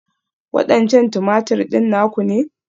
Waɗancan Tumatir ɗin naku ne?